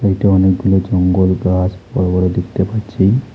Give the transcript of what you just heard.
এটা অনেকগুলো জঙ্গল গাছ বড় বড় দেখতে পাচ্ছি।